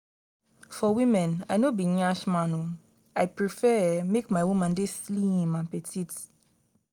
for women i no be nyash man um i prefer um make my woman dey slim and petite.